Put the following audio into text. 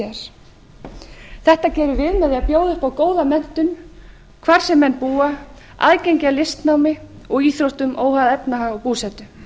framtíðar þetta gerum við með því að bjóða upp á góða menntun hvar sem menn búa aðgengi að listnámi og íþróttum óháð efnahag og búsetu